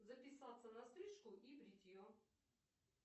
записаться на стрижку и бритье